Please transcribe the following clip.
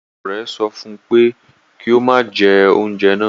Olùkọ́ rẹ̀ sọ fún un pé kí ó má jẹ oúnjẹ náà